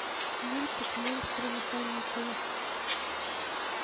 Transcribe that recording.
мультик монстры на каникулах